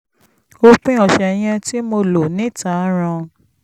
òpin ọ̀sẹ̀ yẹn tí mo lò níta ràn